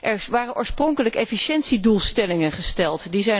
Er waren oorspronkelijk efficiëntiedoelstellingen gesteld.